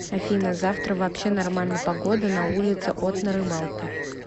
афина завтра вообще нормально погода на улице от на рыбалку